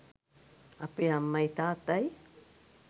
අපේ අම්මයි තාත්තයි